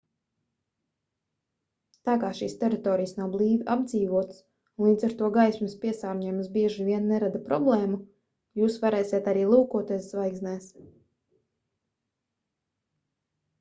tā kā šīs teritorijas nav blīvi apdzīvotas un līdz ar to gaismas piesārņojums bieži vien nerada problēmu jūs varēsiet arī lūkoties zvaigznēs